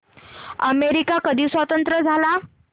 America कधी स्वतंत्र झाला